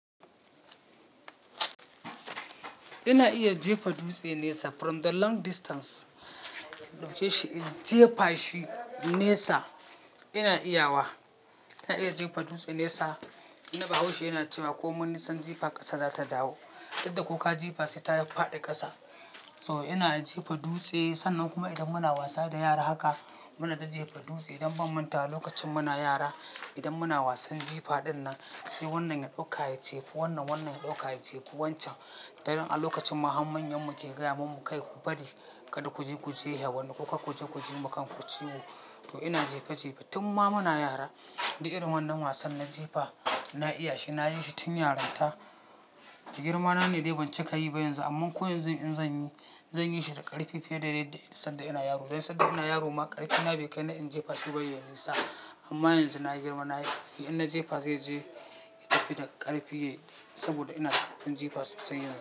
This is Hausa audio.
Ina iya jefa dutse nesa from the long distance. Ɗauke shi in jefa shi nesa ina iya wa. Ina iya jefa dutse nesa. Tunda bahaushe yana cewa komai nisan jifa ƙasa za ta jawo, tunda ko ka jefa sai ta faɗi ƙasa. So ina iya jefa dutse sannan kuma idan muna wasa da yara haka muna jejjefa dutse dan ban mantawa lokacin muna yara. Idan muna wasan jifa dinnan sai wannan ya ɗauka ya jefa wannan, wannan ya ɗauka ya jefa wancan. Dan a lokacin ma har manyan mu ke gaya mamu kai ku bari kada ku je ku jehe wani, ko kar ku je ku ji wa kan ku ciwo. To ina jefe jefe tun ma muna yara, duk irin wannan wasan na jifa na iya shi. Na yi shi tun yaranta. Girma na ne dai ban cika yi ba yanzu amma ko yanzu in zan yi, zan yi shi da ƙarfi fiye da yadda sanda ina yaro. Dan sanda ina yaro ma ƙarfi na bai kai na in jefa shi ba yayi nisa. Amma yanzu na girma na yi ƙarfi, in na jefa zai je ya tafi da ƙarfi saboda ina da ƙungun jifa sosai yanzu.